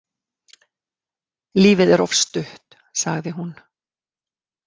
Lífið er of stutt, sagði hún.